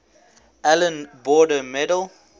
allan border medal